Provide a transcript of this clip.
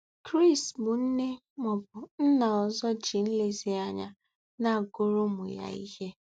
Chris bụ nne ma ọ bụ nna ọzọ ji nlezianya na-agụrụ ụmụ ya ihe.